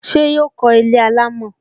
Ṣé yọ kó ilé alámọ̀?